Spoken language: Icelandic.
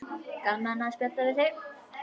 Gaman að spjalla við þig.